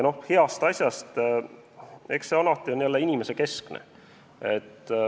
Heast asjast – eks see on alati inimesekeskne.